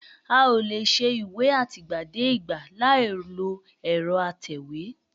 A ò lè ṣe ìwé àtìgbàdégbà láìlo ẹ̀rọ atẹ̀wé